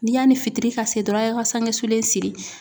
N'i y'ani fitiri ka se dɔrɔn ,a ye ka sange sulen siri.